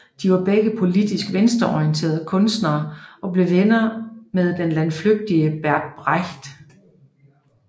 De var begge politisk venstreorienterede kunstnere og blev venner med den landflygtige Bert Brecht